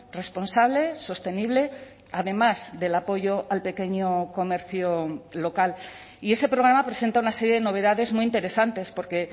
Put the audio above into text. responsable sostenible además del apoyo al pequeño comercio local y ese programa presenta una serie de novedades muy interesantes porque